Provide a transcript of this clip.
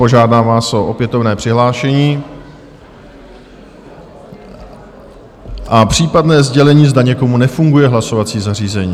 Požádám vás o opětovné přihlášení a případné sdělení, zda někomu nefunguje hlasovací zařízení.